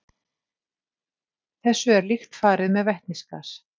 Þessu er líkt farið með vetnisgas.